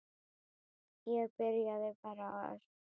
Ég byrjaði bara að öskra.